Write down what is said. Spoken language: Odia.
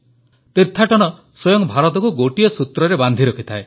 ତୀର୍ଥାଟନ ସ୍ୱୟଂ ଭାରତକୁ ଗୋଟିଏ ସୂତ୍ରରେ ବାନ୍ଧି ରଖିଥାଏ